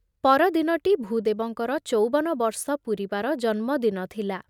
ପରଦିନଟି ଭୂଦେବଙ୍କର ଚଉବନ ବର୍ଷ ପୂରିବାର ଜନ୍ମ ଦିନ ଥିଲା ।